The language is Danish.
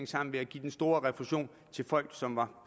sammen ved at give den store refusion til folk som var